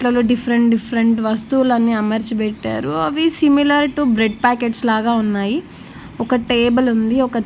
తను different different వస్తువులన్నీ అమర్చి పెట్టారు అవి సిమిలర్ టు బ్రెడ్ పాకెట్స్ లాగా ఉన్నాయి ఒక టేబుల్ ఉంది. ఒక --